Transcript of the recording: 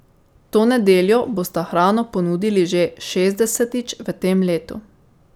To nedeljo bosta hrano ponudili že šestdesetič v tem letu.